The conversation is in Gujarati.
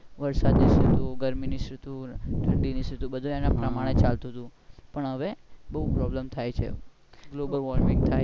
વરસાદ ની ૠતુ ને ગરમી ની ઋતુ બધું એના પ્રમાણે ચાલતું તું પણ હવે બઉ problem થાય છે global worming થાય